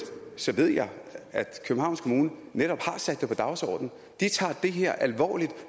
ved jeg at københavns kommune netop har sat det på dagsordenen de tager det her alvorligt